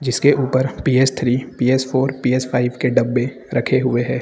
जिसके ऊपर P S three P S four P S five के डब्बे रखे हुए हैं।